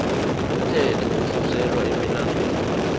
umthetho osuselwa emilandwini